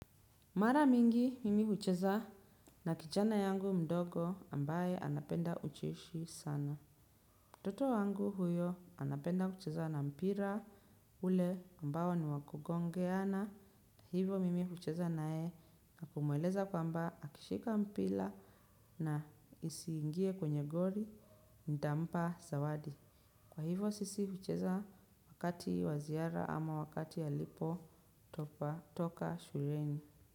Mara mingi, mimi hucheza na kijana yangu mdogo ambaye anapenda ucheshi sana. Toto wangu huyo anapenda kucheza na mpira ule ambao ni wakugongeana. Hivo mimi hucheza nayeye na kumweleza kwamba akishika mpira na isiingie kwenye gori, ntampa, zawadi. Kwa hivo sisi hucheza wakati wa ziara ama wakati alipo toka shureni.